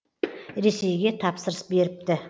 ресейге тапсырыс беріпті